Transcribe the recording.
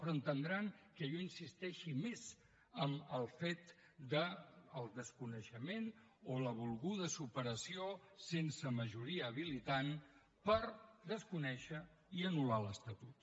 però entendran que jo insisteixi més en el fet del desconeixement o la volguda superació sense majoria habilitant per desconèixer i anullar l’estatut